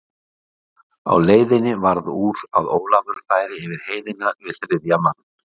Á leiðinni varð úr að Ólafur færi yfir heiðina við þriðja mann.